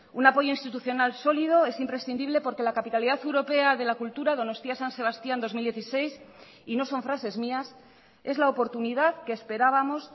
un apoyo institucional sólido es imprescindible porque la capitalidad europea de la cultura donostia san sebastián dos mil dieciséis y no son frases mías es la oportunidad que esperábamos